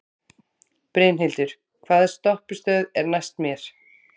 Brynhildur, hvaða stoppistöð er næst mér?